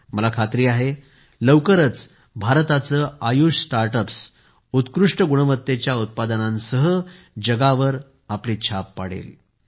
मला खात्री आहे लवकरच भारताचे आयुष स्टार्टअप्स उत्कृष्ट गुणवत्तेच्या उत्पादनांनी जगावर आपली छाप पाडतील